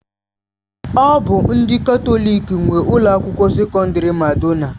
Ọ bụ ndị Katọlik nwe Ụlọ akwụkwọ sekọndrị Madonna.